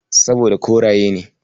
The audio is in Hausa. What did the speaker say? Saboda koraye ne.